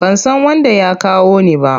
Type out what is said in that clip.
Ban san wanda ya kawo ni ba.